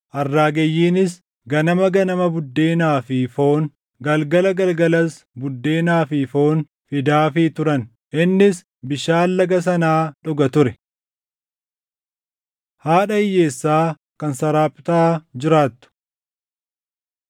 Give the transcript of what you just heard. Arraageyyiinis ganama ganama buddeenaa fi foon, galgala galgalas buddeenaa fi foon fidaafii turan; innis bishaan Laga sanaa dhuga ture. Haadha Hiyyeessaa Kan Saraaptaa Jiraattu